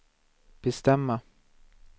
bestämma